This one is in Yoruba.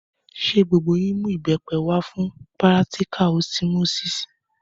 Ṣé gbogbo yín mú ìbẹ́pẹ wá fún pírátíkà ọsimósísì?